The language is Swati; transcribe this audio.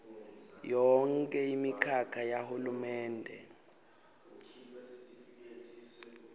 yonkhe imikhakha yahulumende